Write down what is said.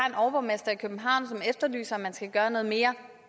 en overborgmester i københavn som efterlyser at man skal gøre noget mere